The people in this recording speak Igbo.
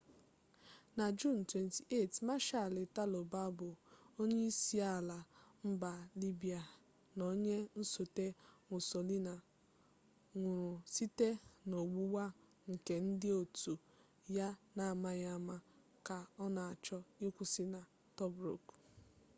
na juun 28 marshal italo balbo onyeisiala mba libya na onye nsote mussolini nwụrụ site n'ọgbụgba nke ndị otu ya n'amaghị ama ka ọ na-achọ ịkwụsị na tobruk